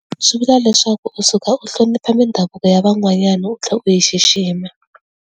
Swi vula leswaku u suka u hlonipha mindhavuko ya van'wanyana u tlhe u yi xixima.